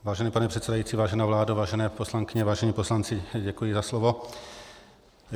Vážený pane předsedající, vážená vládo, vážené poslankyně, vážení poslanci, děkuji za slovo.